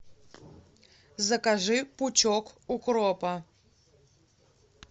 закажи пучок укропа